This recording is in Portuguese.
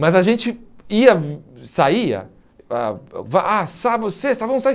Mas a gente ia, saia, ah vá ah sábado, sexta, vamos sair.